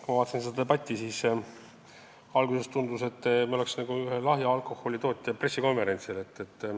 Kui ma vaatasin seda debatti, siis alguses tundus, nagu me oleks ühe lahja alkoholi tootja pressikonverentsil.